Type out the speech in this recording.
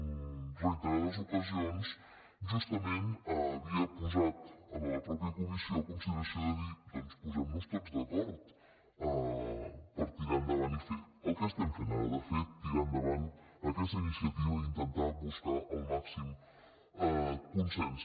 en reiterades oca·sions justament havia posat en la mateixa comissió la consideració de dir doncs posem·nos tots d’acord per tirar endavant i fer el que estem fent ara de fet ti·rar endavant aquesta iniciativa i intentar buscar el mà·xim consens